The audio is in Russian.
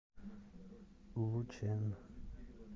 лучэн